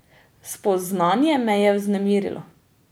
Spoznanje me je vznemirilo.